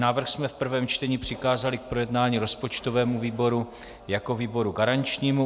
Návrh jsme v prvém čtení přikázali k projednání rozpočtovému výboru jako výboru garančnímu.